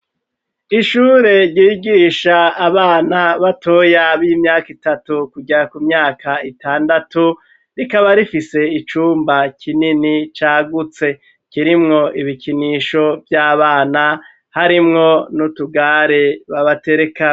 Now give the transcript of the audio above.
ishure ryigisha abana batoya b'imyaka itatu kujya ku myaka itandatu rikaba rifise icumba kinini cagutse kirimwo ibikinisho by'abana harimwo n'utugare babaterekamwo.